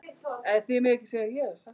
Aldrei annað.